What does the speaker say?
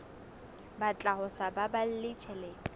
batla ho sa baballe tjhelete